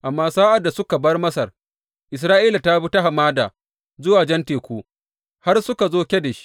Amma sa’ad da suka bar Masar, Isra’ila ta bi ta hamada zuwa Jan Teku har suka zo Kadesh.